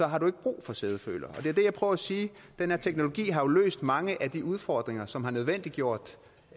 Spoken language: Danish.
har du ikke brug for sædefølere det er det jeg prøver at sige nemlig at den her teknologi jo har løst mange af de udfordringer som har nødvendiggjort